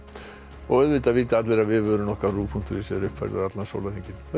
og auðvitað vita allir að vefurinn punktur is er uppfærður allan sólarhringinn þessu